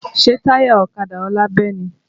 Ṣé táyà ọ̀kadà ọlá bẹ́ ni?